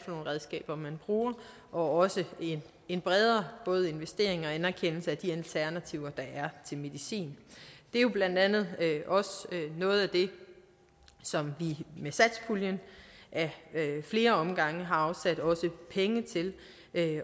nogle redskaber man bruger og også en bredere både investering og anerkendelse af de alternativer der er til medicin det er jo blandt andet også noget af det som vi med satspuljen ad flere omgange har afsat penge til